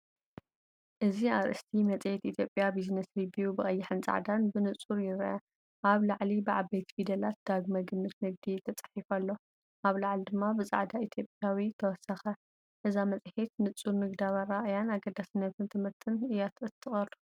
እዚኣርእስቲ መጽሔት ኢትዮጵያ ቢዝነስ ሪቪው ብቀይሕን ጻዕዳን ብንጹር ይርአ። ኣብ ላዕሊ ብዓበይቲ ፊደላት “ዳግመ ግምት ንግዲ” ተጻሒፉ ኣሎ፡ ኣብ ላዕሊ ድማ ብጻዕዳ “ኢትዮጵያዊ”ተወሰኸ። እዛ መጽሔት ንጹር ንግዳዊ ኣረኣእያን ኣገዳስነት ትምህርትን እያ እተቕርብ።